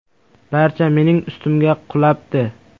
Barcha mening ustimga qulabdi.